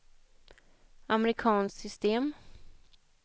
amerikanskt system